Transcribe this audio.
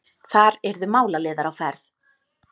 Þar yrðu málaliðar á ferð.